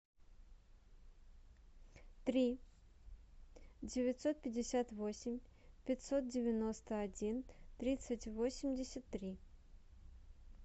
три девятьсот пятьдесят восемь пятьсот девяносто один тридцать восемьдесят три